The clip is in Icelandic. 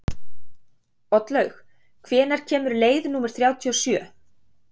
Oddlaug, hvenær kemur leið númer þrjátíu og sjö?